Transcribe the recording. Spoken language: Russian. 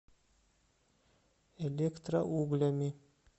электроуглями